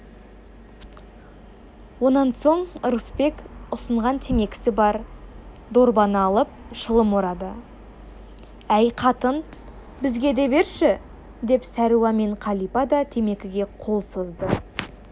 онан соң ырысбек ұсынған темекісі бар дорбаны алып шылым орады әй қатын бізге де берші бері деп сәруа мен қалипа да темекіге қол созды